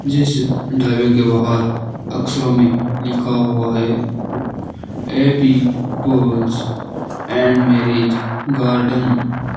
जिस ढाबे के बाहर अक्षरों में लिखा हुआ है A B poles and marriage garden.